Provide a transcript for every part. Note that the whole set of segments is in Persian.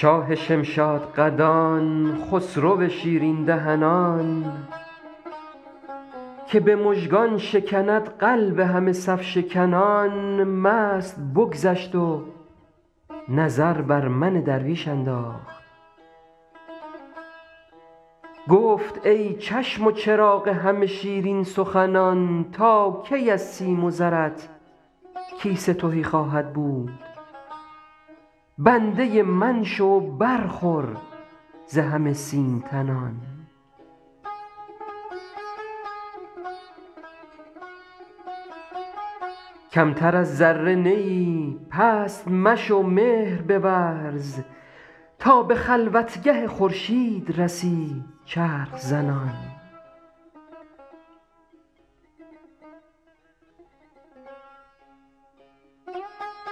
شاه شمشادقدان خسرو شیرین دهنان که به مژگان شکند قلب همه صف شکنان مست بگذشت و نظر بر من درویش انداخت گفت ای چشم و چراغ همه شیرین سخنان تا کی از سیم و زرت کیسه تهی خواهد بود بنده من شو و برخور ز همه سیم تنان کمتر از ذره نه ای پست مشو مهر بورز تا به خلوتگه خورشید رسی چرخ زنان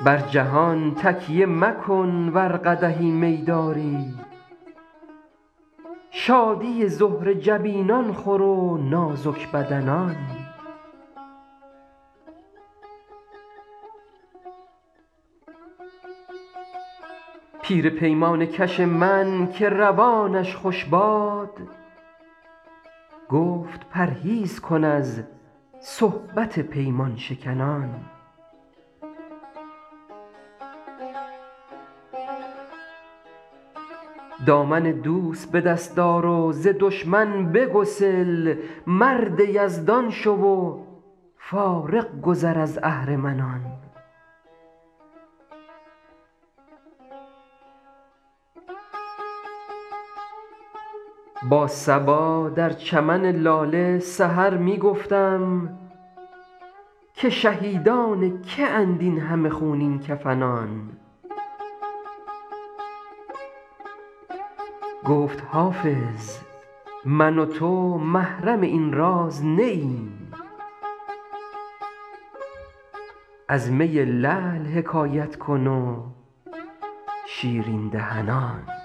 بر جهان تکیه مکن ور قدحی می داری شادی زهره جبینان خور و نازک بدنان پیر پیمانه کش من که روانش خوش باد گفت پرهیز کن از صحبت پیمان شکنان دامن دوست به دست آر و ز دشمن بگسل مرد یزدان شو و فارغ گذر از اهرمنان با صبا در چمن لاله سحر می گفتم که شهیدان که اند این همه خونین کفنان گفت حافظ من و تو محرم این راز نه ایم از می لعل حکایت کن و شیرین دهنان